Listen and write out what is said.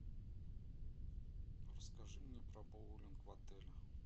расскажи мне про боулинг в отеле